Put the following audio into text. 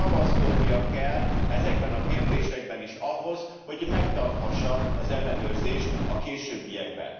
Ragaszkodnia kell ezekben a kérdésekben is ahhoz, hogy megtarthassa az ellenőrzést a későbbiekben.